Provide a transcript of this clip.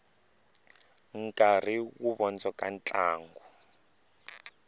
nkarhi wu vondzoka ntlangu